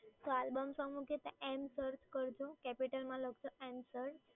તો album song મૂકીએ ત્યાં એન સર્ચ કરજો. capital માં લખજો એન સર્ચ